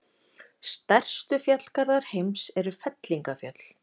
Stærstu fjallgarðar heims eru fellingafjöll.